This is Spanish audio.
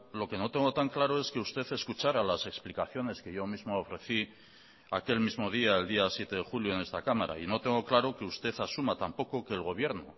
lo que no tengo tan claro es que usted escuchará las explicaciones que yo mismo ofrecí aquel mismo día el día siete de julio en esta cámara y no tengo claro que usted asuma tampoco que el gobierno